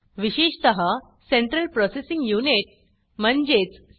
विशेषत central processing unit म्हणजेच C